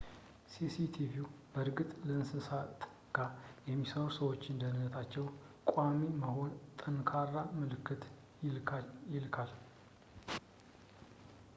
"ሲ.ሲ.ቲቪው በእርግጥ ከእንስሳ ጋር ለሚሠሩ ሰዎች ደህነነታቸው ቀዳሚ መሆኑን በጠንካራ ምልክት ይልካል።